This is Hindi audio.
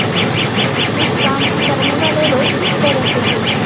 उस काम को करने वाले लोग किस तरह के हैं